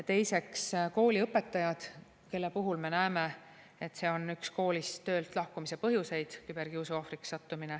Teiseks, kooliõpetajad, kelle puhul me näeme, et küberkiusu ohvriks sattumine on üks koolist töölt lahkumise põhjuseid.